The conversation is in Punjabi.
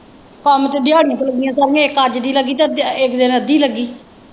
ਕੰਮ ਤੇ ਦਿਹਾੜੀ ਤੇ ਲੱਗੀਆਂ ਸਾਰੀਆਂ ਇੱਕ ਅੱਜ ਦੀ ਲੱਗੀ ਤੇ ਇੱਕ ਦਿਨ ਅੱਧੀ ਲੱਗੀ।